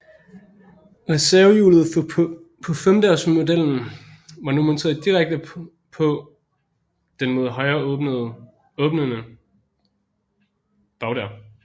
Reservehjulet på femdørsmodellen var nu monteret direkte på den mod højre åbnende bagdør